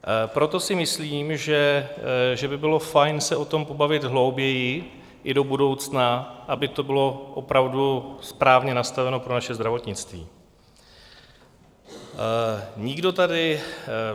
Proto si myslím, že by bylo fajn se o tom pobavit hlouběji i do budoucna, aby to bylo opravdu správně nastaveno pro naše zdravotnictví.